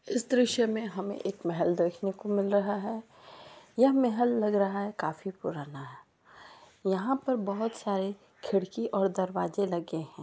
इस दृश्य में हमे एक महल देखने को मिल रहा है यह महल लग रहा है काफी पुराना यहाँ पर बहुत सारे खिड़की और दरवाजे लगे है।